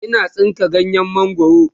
Ina tsinka ganyen mangwaro